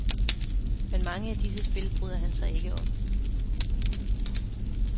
Men mange af disse spil bryder han sig ikke om.